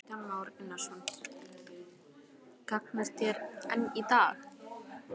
Kristján Már Unnarsson: Gagnast þær enn í dag?